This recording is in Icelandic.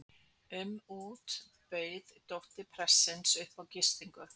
um út bauð dóttir prestsins upp á gistingu.